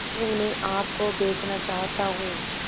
मैं उन्हें आप को बेचना चाहता हूं